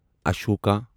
Ashoka